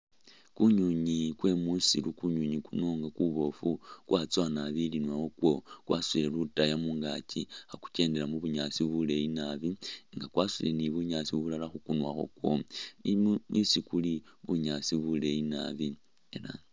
Kunywinywi kwe musiru, kunywinywi kuno nga kuboofu kwatsoowa naabi ilinwa wakwo kwasuutile lutaya mungaki khakukendela mubunyaasi buleyi naabi nga kwasuutile ni bunyaasi bulala khukunwa khwako inyuma ni isi kuli, bunyaasi buleyi naabi ela